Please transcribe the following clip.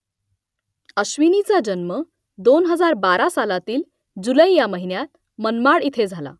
अश्विनीचा जन्म दोन हजार बारा सालातील जुलै या महिन्यात मनमाड इथे झाला